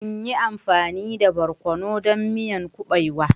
In yi amfani da barkono don miyan kuɓewa?